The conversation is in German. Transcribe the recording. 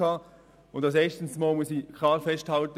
Als erstes muss ich klar festhalten: